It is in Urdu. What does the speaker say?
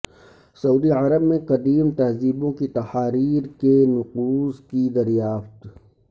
سعودی عرب میں قدیم تہذیبوں کی تحاریر کے نقوش کی دریافت